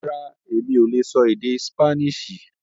Rárá, Emi o lè sọ èdè Sípáníìṣì